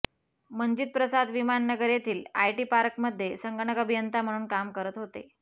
मंजित प्रसाद विमान नगर येथील आयटीपार्क मध्ये संगणक अभियंता म्हणून काम करत होते